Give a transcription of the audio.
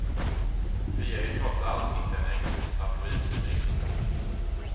Vi är ju trots allt inte en engelsk tabloidtidning.